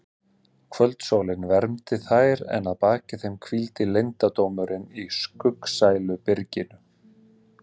Kvöldsólin vermdi þær en að baki þeim hvíldi leyndardómurinn í skuggsælu byrginu.